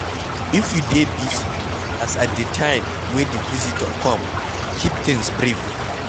if you dey busy as at di time wey di visitor come, keep things brief